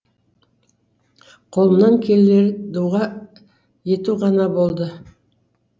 қолымнан келері дұға ету ғана болды